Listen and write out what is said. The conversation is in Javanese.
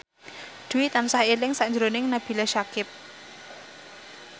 Dwi tansah eling sakjroning Nabila Syakieb